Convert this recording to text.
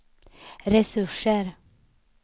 resurser